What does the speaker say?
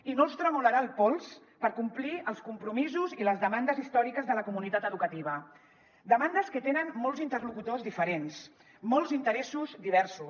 i no els tremolarà el pols per complir els com·promisos i les demandes històriques de la comunitat educativa demandes que tenen molts interlocutors diferents molts interessos diversos